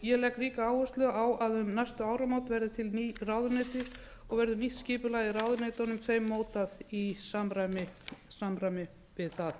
ég legg ríka áherslu á að um næstu áramót verði til ný ráðuneyti og verður nýtt skipulag í ráðuneytunum mótað í samræmi við það